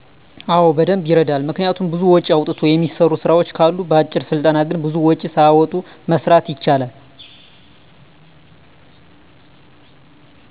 አወ በደንብ ይረዳል። ምክንያቱም ብዙ ወጭ አውጥቶ የሚሰሩ ስራወች ካሉ በአጭር ስልጠና ግን ብዙም ወጭ ሳያወጡ መስራት ይቻላል።